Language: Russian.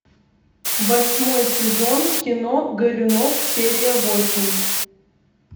восьмой сезон кино горюнов серия восемь